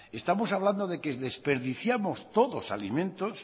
estamos hablando de que desperdiciamos todos alimentos